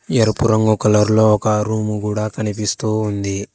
ఎరుపు రంగు కలర్ లో ఒక రూము కూడా కనిపిస్తూ ఉంది.